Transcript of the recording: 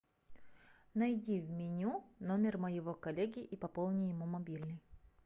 найди в меню номер моего коллеги и пополни ему мобильный